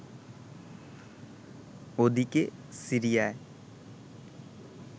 ওদিকে, সিরিয়ায়